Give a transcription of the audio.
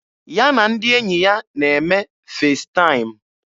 Ya na ndị enyi ya na-eme Festaịm.